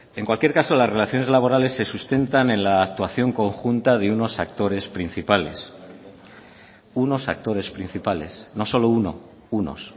en cualquier caso las relaciones laborales se sustentan en la actuación conjunta de unos actores principales unos actores principales no solo uno unos